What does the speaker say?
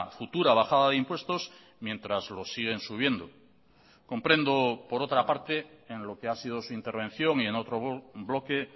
futura bajada de impuestos mientras los siguen subiendo comprendo por otra parte en lo que ha sido su intervención y en otro bloque